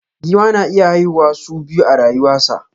Giwa na iya haihuwa su biya a rayuwa sa.